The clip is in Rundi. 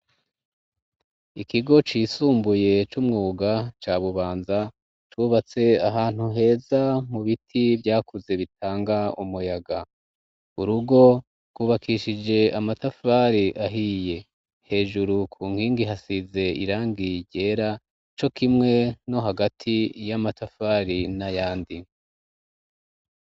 Ikigo cisumbuye c'umwuga ca bubanza cubatse ahantu heza mu biti vyakuze bitanga umuyaga urugo wubakishije amatafari ahiye hejuru ku nkingi hasize irangiye ryera co kimwe no hagati iyo amatafari na yandi.